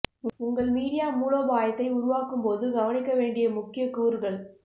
உங்கள் மீடியா மூலோபாயத்தை உருவாக்கும் போது கவனிக்க வேண்டிய முக்கிய கூறுகள்